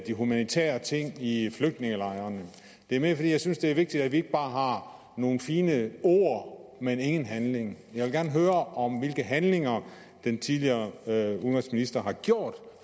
de humanitære ting i flygtningelejrene det er mere fordi jeg synes det er vigtigt at vi ikke bare har nogle fine ord men ingen handling jeg vil gerne høre om hvilke handlinger den tidligere udenrigsminister har gjort